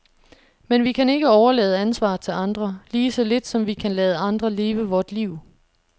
Men vi kan ikke overlade ansvaret til andre, lige så lidt som vi kan lade andre leve vort liv.